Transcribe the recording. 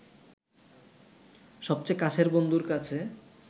সবচেয়ে কাছের বন্ধুর কাছে